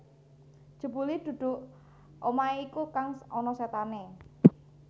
Jebule dudu omahe iku kang ana setane